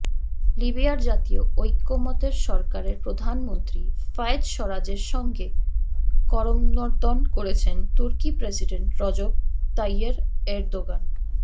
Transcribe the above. লিবিয়ার জাতীয় ঐক্যমত্যের সরকারের প্রধানমন্ত্রী ফায়েজ সারাজের সঙ্গে করমর্দন করছেন তুর্কি প্রেসিডেন্ট রজব তাইয়্যেব এরদোগান